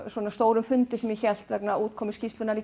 stórum fundi sem ég hélt vegna útkomu skýrslunnar